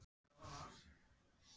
Bæta að vísu ekki nýjum rullum við.